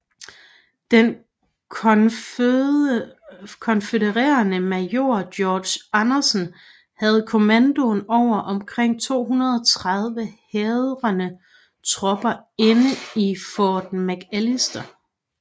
Den konfødererede major George Anderson havde kommandoen over omkring 230 hærdede tropper inde i Fort McAllister